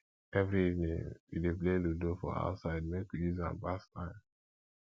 every evening we dey play ludo for outside make we use am pass time